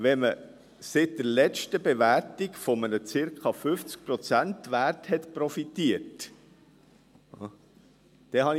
Ich habe es als «Schmarotzertum» ausgelegt, wenn man seit der letzten Bewertung von einem zirka 50-Prozent-Wert profitiert hat.